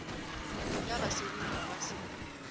lebila basebini ga ba se